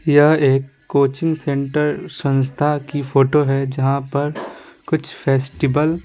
यह एक coaching centre संस्था की फोटो है जहाँ पर कुछ फेस्टिवल --